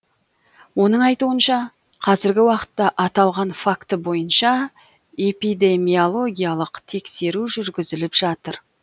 оның айтуынша қазіргі уақытта аталған факті бойынша эпидемиологиялық тексеру жүргізіліп жатыр